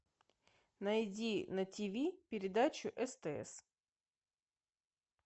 найди на тв передачу стс